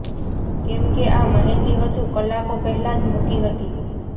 કેમ કે આ મહેંદી હજુ કલાકો પહેલાં જ મૂકી હતી